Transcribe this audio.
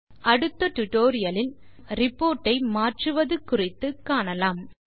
நம் அடுத்த டியூட்டோரியல் லில் நம் ரிப்போர்ட் ஐ மாற்றுவது குறித்து காணலாம்